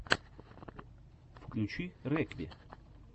включи рекви